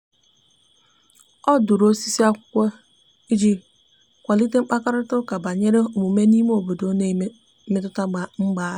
o dụrụ osisi akwụkwo iji kwalite mkparịta uka banyere ezi omume n'ime obodo na mmetụta mpaghara